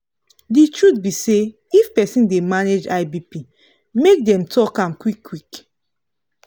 the truth be say if persin dey manage high bp make dem talk am qik qik